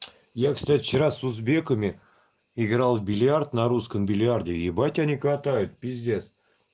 я кстати вчера с узбеками играл в бильярд на русском бильярде ебать они катают пиздец